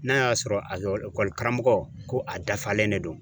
N'a y'a sɔrɔ a ekɔli karamɔgɔ, ko a dafalen de don.